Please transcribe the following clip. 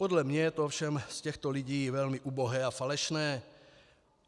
Podle mě je to ovšem od těchto lidí velmi ubohé a falešné.